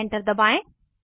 enter दबाएं